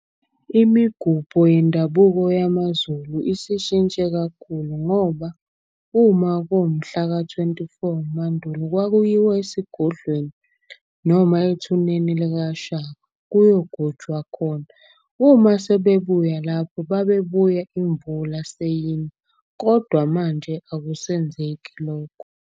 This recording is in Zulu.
Imigubho yendabuko yamaZulu isishintshe kakhulu ngoba uma kuwumhlaka-twenty four Mandulo kwakuyiwa esigodlweni. Noma ethuneni likaShaka kuyogujwa khona. Uma sebebuya lapho babebuya imvula seyina, kodwa manje akusenzeki lokho.